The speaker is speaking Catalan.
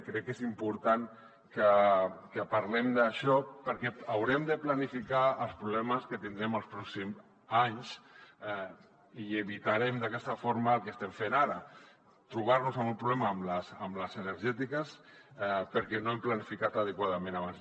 crec que és important que parlem d’això perquè haurem de planificar els problemes que tindrem els pròxims anys i evitarem d’aquesta forma el que estem fent ara trobar nos amb un problema amb les energètiques perquè no hem planificat adequadament abans